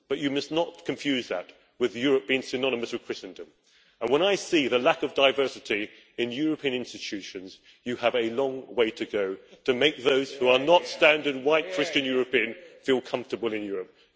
But you must not confuse that with Europe being synonymous with Christendom. When I see the lack of diversity in European institutions, you have a long way to go to make those who are not standard white Christian European feel comfortable in Europe.